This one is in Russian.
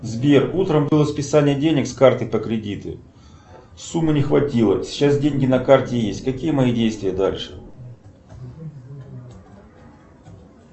сбер утром было списание денег с карты по кредиту суммы не хватило сейчас деньги на карте есть какие мои действия дальше